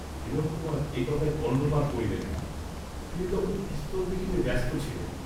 হিরণকুমার এ কথায় কর্ণপাত করিলেন না, তিনি তখন পিস্তল দেখিতে ব্যস্ত ছিলেন।